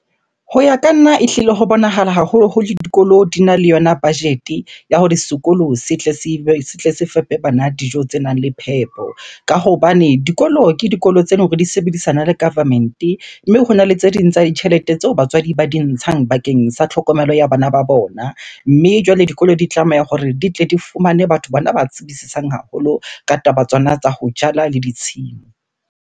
Ho ya ka nna, ehlile ho bonahala haholoholo dikolo dina le yona budget-e ya hore sekolo se tle se fepe bana dijo tse nang le phepo. Ka hobane dikolo, ke dikolo tse leng hore di sebedisana le government-e. Mme hona le tse ding tsa ditjhelete tseo batswadi ba di ntshang bakeng sa tlhokomelo ya bana ba bona, mme jwale dikolo di tlameha hore di tle di fumane batho bana ba tsebisisang haholo ka taba tsona tsa ho jala le ditshimo.